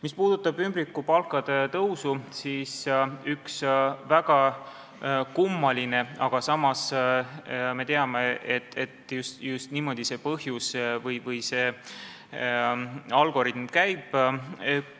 Mis puudutab ümbrikupalkade tõusu, siis siin on üks väga kummaline asi, aga me teame, et just niimoodi see algoritm käib.